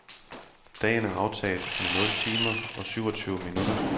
Dagen er aftaget med nul timer og syvogtyve minutter.